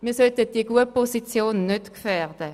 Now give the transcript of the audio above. Wir sollten die gute Position nicht gefährden.